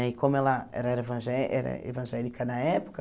Né e como ela ela era evangé era evangélica na época,